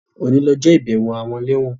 Òní lọjọ́ ìbẹ̀wo àwọn ẹlẹ́wọ̀n